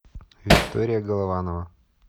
виктория голованова